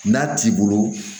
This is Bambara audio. N'a t'i bolo